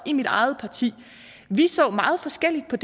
i mit eget parti vi så meget forskelligt på